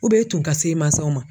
U bɛ tun ka se mansaw ma